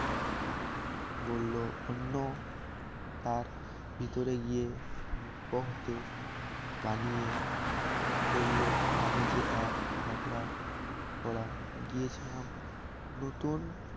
বলল অন্য তার ভিতরে গিয়ে হতে বানিয়ে চলল আমি যে এক ঝগড়া করা গিয়েছিলাম নতুন